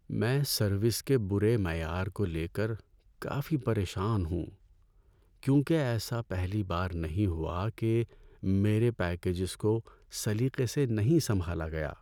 میں سروس کے بُرے معیار کو لے کر کافی پریشان ہوں، کیونکہ ایسا پہلی بار نہیں ہوا کہ میرے پیکجز کو سلیقے سے نہیں سنبھالا گیا۔